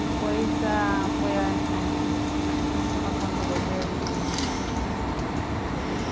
Depois ãh foi a eh eh ... Como é que chama quando o governo... Desapropriado.